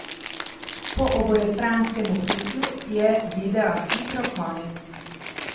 Po obojestranskem vpitju je videa hitro konec.